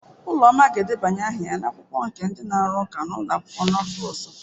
Uloma ga-edebanye aha ya na akwụkwọ ndi na-arụ ụka nke n'ụlọ akwụkwọ n'afọ ọzọ.